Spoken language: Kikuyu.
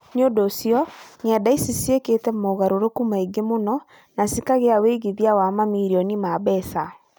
Nĩ ũndũ ũcio, ng’enda ici nĩ ciekĩte mogarũrũku maingĩ mũno na cikagĩa wĩigithia wa mamirioni ma mbeca.